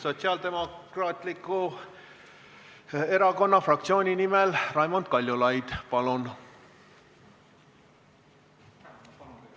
Sotsiaaldemokraatliku Erakonna fraktsiooni nimel Raimond Kaljulaid, palun!